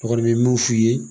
N kɔni bɛ mun f'i ye